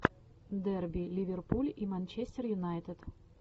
дерби ливерпуль и манчестер юнайтед